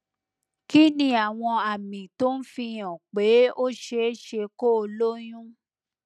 kí ni àwọn àmì tó ń fi hàn pé ó ṣe é ṣe kó o lóyún